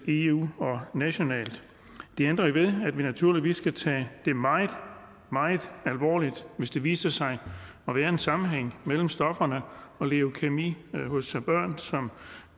i eu og nationalt det ændrer ikke ved at vi naturligvis skal tage det meget meget alvorligt hvis der viser sig at være en sammenhæng mellem stofferne og leukæmi hos børn som